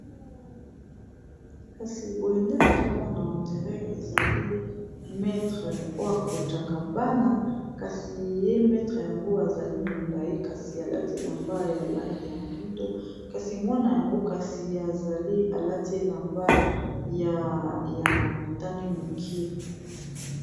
kasi boyendele azomona ondire ezali metre oyo akotaka bana kasi ye metre yango azali molai kasi alati elamba ya langi ya moindo kasi mwana yango kasi azali alati elamba ya motane moke